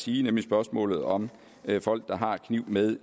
sige nemlig spørgsmålet om folk der har kniv med